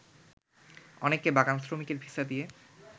অনেককে বাগান শ্রমিকের ভিসা দিয়ে